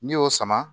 N'i y'o sama